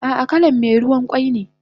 Ah ah kalan me ruwan kwai ne